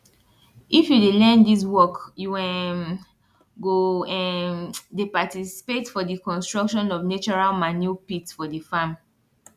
if you dey learn dis work you um go um dey participate for di construction of natural manure pit for di farm